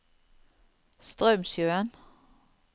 Straumsjøen